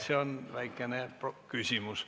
See on väikene küsimus.